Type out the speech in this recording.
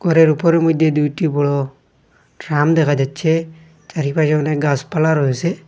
ঘরের উপরের মইধ্যে দুইটি বড় ড্রাম দেখা যাচ্ছে চারিপাশে অনেক গাসপালা রয়েসে।